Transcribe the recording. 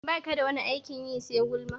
Baka da wani aikin yi sai gulma?